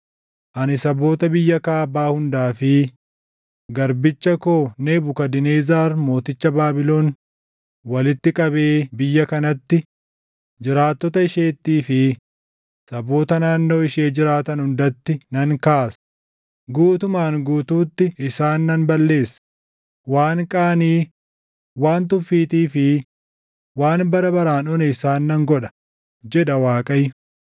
ani saboota biyya kaabaa hundaa fi garbicha koo Nebukadnezar mooticha Baabilon walitti qabee biyya kanatti, jiraattota isheettii fi saboota naannoo ishee jiraatan hundatti nan kaasa; guutumaan guutuutti isaan nan balleessa; waan qaanii, waan tuffiitii fi waan bara baraan one isaan nan godha” jedha Waaqayyo.